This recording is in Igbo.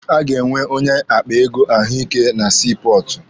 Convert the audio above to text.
A ga-enwe onye akpa ego ahụike na sii pọọtụ.